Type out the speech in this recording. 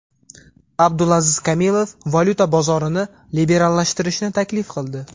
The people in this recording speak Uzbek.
Abdulaziz Komilov valyuta bozorini liberallashtirishni taklif qildi.